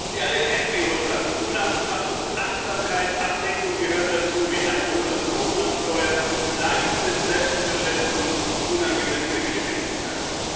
Sie alle kennen die Ursachen Unachtsamkeit, Ablenkung gehören ebenso dazu wie Alkohol und Drogen am Steuer, Leichtsinn, Selbstüberschätzung und unangemessene Geschwindigkeit.